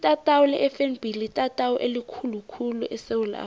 itatawu lefnb litatawu elikhulu khulu esewula afrika